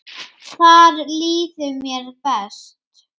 Þar líður mér best.